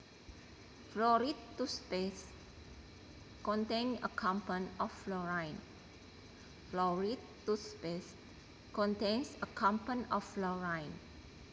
Fluoride toothpaste contains a compound of fluorine